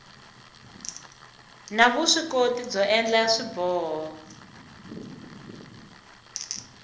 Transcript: na vuswikoti byo endla swiboho